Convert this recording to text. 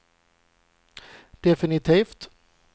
definitivt